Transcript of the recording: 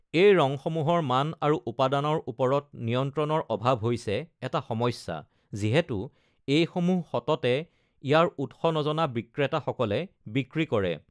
এই ৰঙসমূহৰ মান আৰু উপাদানৰ ওপৰত নিয়ন্ত্ৰণৰ অভাৱ হৈছে এটা সমস্যা, যিহেতু এইসমূহ সততে ইয়াৰ উৎস নজনা বিক্ৰেতাসকলে বিক্ৰী কৰে।